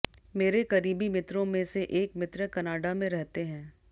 मेरे करीबी मित्रों में से एक मित्र कनाडा में रहते हैं